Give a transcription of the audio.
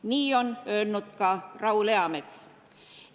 Nii on öelnud ka Raul Eamets.